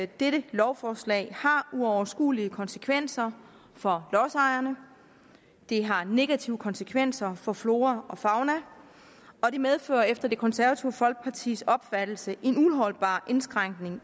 dette lovforslag har uoverskuelige konsekvenser for lodsejerne det har negative konsekvenser for flora og fauna og det medfører efter det konservative folkepartis opfattelse en uholdbar indskrænkning